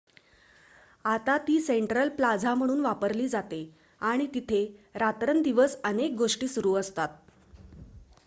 आता ती central plaza म्हणून वापरली जाते आणि तिथे रात्रंदिवस अनेक गोष्टी सुरू असतात